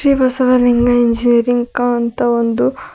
Basavalinga engineering ಕ ಅಂತ ಒಂದು--